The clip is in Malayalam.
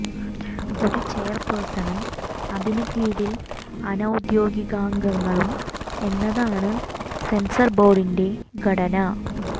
ഒരു ചെയർപേഴ്സണും അതിനു കീഴിൽ അനൌദ്യോഗികാംഗങ്ങളും എന്നതാണ് സെൻസർ ബോർഡിന്റെ ഘടന